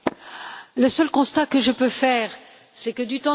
Le seul constat que je peux faire, c'est que du temps de M.